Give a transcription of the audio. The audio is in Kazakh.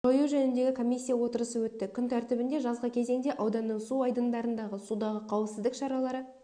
жою жөніндегі комиссия отырысы өтті күн тәртібінде жазғы кезеңде ауданның су айдындарындағы судағы қауіпсіздік шаралары